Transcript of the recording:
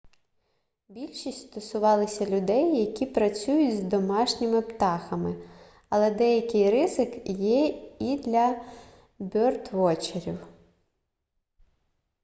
більшість стосувалися людей які працюють з домашніми птахами але деякий ризик є і для бьордвотчерів